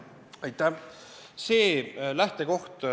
Aitäh!